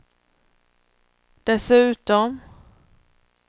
dessutom